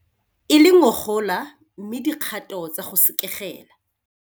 E le ngogola mme dikgato tsa go sekegela.